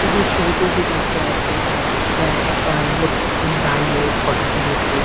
এইযে ছবিটি এই যে দেখা যাচ্ছে এটা একটা লোক দাঁড়িয়ে ফটো তুলেছে।